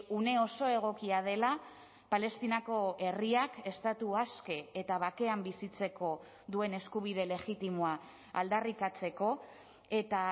une oso egokia dela palestinako herriak estatu aske eta bakean bizitzeko duen eskubide legitimoa aldarrikatzeko eta